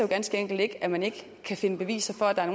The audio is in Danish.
ganske enkelt ikke at man ikke kan finde beviser for at der er